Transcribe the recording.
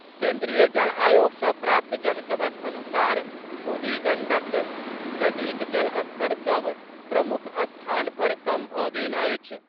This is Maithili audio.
केन्द्रीय जल आयोग सँ प्राप्त जनतबक अनुसार बूढ़ी गंडक नदीक जलस्तर सभ प्रमुख स्थान पर कम भऽ गेल अछि।